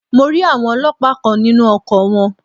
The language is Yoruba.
Mo rí àwọn Ọlọ́pàá kan nínú ọkọ̀ wọn.